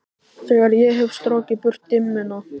Þegar ég hef strokið burt dimmuna.